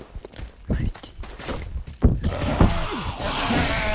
найти фильм поезд в пусан